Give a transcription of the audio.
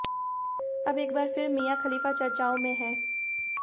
अब एक बार फिर मिया खलीफा चर्चाओं में हैं